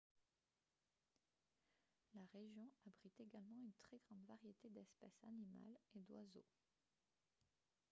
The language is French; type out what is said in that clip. la région abrite également une très grande variété d'espèces animales et d'oiseaux